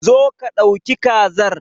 Zo ka dauki kazar.